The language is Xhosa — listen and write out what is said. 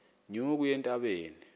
nyuka uye entabeni